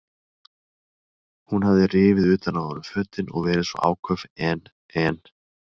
Hún hafði rifið utan af honum fötin og verið svo áköf en, en.